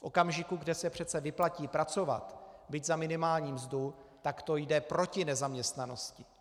V okamžiku, kdy se přece vyplatí pracovat, byť za minimální mzdu, tak to jde proti nezaměstnanosti.